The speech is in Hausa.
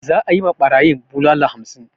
Za'a yi ma barayin bulala hamsin.